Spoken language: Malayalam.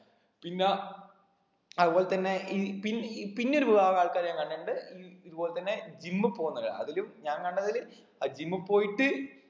പിന്നെ അതുപോലെ തന്നെ ഈ പി പിന്നെ ഒരു വിഭാഗം ആൾക്കാരെ കണ്ടിട്ടുണ്ട് ഈ ഇതുപോലെ തന്നെ gym പോന്നവരാ അതിലും ഒരു ഞാൻ കണ്ടതില് അഹ് gym പോയിട്ട്